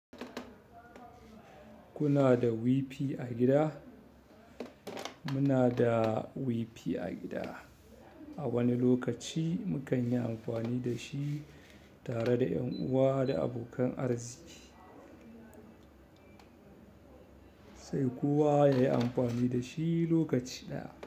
Kuna da WiFi a gida? Muna da WiFi a gida. A wani lokaci mu kan yi amfani da shi tare da ƴan uwa da abokan arziki. Sai kowa yayi amfani da shi lokaci ɗaya.